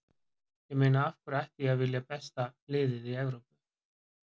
Ég meina af hverju ætti ég að vilja besta liðið í Evrópu?